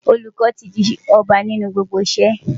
Olùkọ́ ti di ọba nínú gbogbo iṣẹ́.